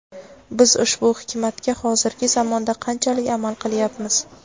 biz ushbu hikmatga hozirgi zamonda qanchalik amal qilyapmiz?.